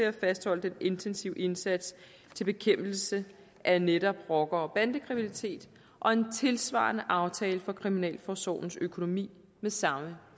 at fastholde den intensive indsats i bekæmpelsen af netop rocker og bandekriminalitet og en tilsvarende aftale for kriminalforsorgens økonomi med samme